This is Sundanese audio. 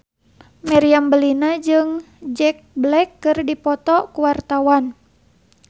Meriam Bellina jeung Jack Black keur dipoto ku wartawan